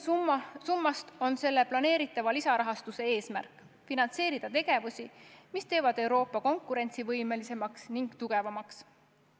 Summast olulisem on planeeritava lisarahastuse eesmärk – finantseerida tegevusi, mis teevad Euroopa konkurentsivõimelisemaks ja tugevamaks.